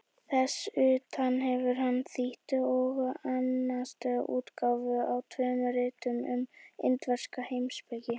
Þess utan hefur hann þýtt og annast útgáfu á tveimur ritum um indverska heimspeki.